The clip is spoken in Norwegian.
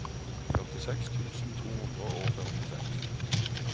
førtiseks tusen to hundre og førtiseks